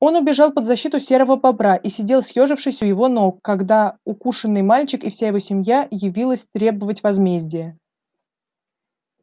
он убежал под защиту серого бобра и сидел съёжившись у его ног когда укушенный мальчик и вся его семья явилась требовать возмездия